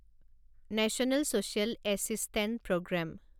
national social assistance programme